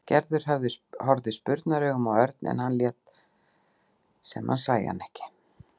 Gerður horfði spurnaraugum á Örn en hann lét sem hann sæi hana ekki.